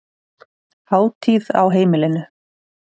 Hátíð á heimilinu